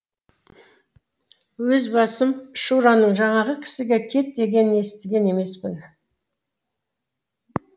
өз басым шураның жаңағы кісіге кет дегенін естіген емеспін